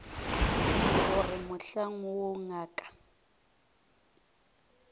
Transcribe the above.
go re mohlang woo ngaka